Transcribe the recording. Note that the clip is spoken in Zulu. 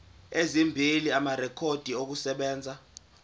ezimbili amarekhodi okusebenza